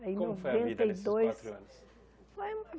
Aí em noventa e dois Como foi a vida nesses quatro anos? Foi